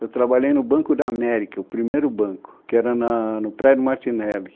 Eu trabalhei no Banco da América, o primeiro banco, que era na, no prédio Martinelli.